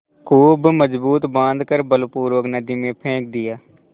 खूब मजबूत बॉँध कर बलपूर्वक नदी में फेंक दिया